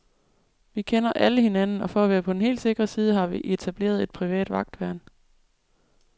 Vi kender alle hinanden og for at være på den helt sikre side, har vi etableret et privat vagtværn.